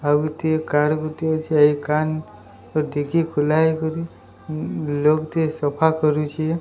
ଆଉ ଗୋଟିଏ କାର ଗୋଟିଏ ଅଛି ଏହି ଡିକି ଖୁଲା ହେଇକରୀ ଉଁ ଲୋଗ ଟିଏ ସଫା କରୁଛି।